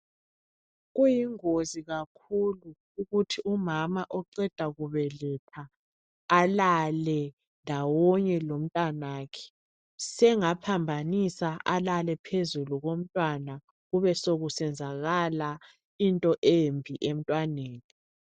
Kuyingozi kakhulu ukuthi umama oqeda kubeletha alale ndawonye lomntanakhe. Sengaphambanisa alale phezulu komntwana kube sekusenzakala into embi emntwaneni.